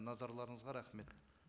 назарларыңызға рахмет